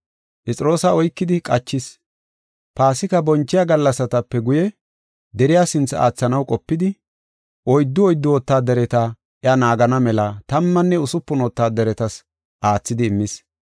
Phexroosa oykidi qachis. Paasika bonchiya gallasatape guye deriya sinthe aathanaw qopidi, oyddu oyddu wotaadareti iya naagana mela tammanne usupun wotaadaretas aathidi immis.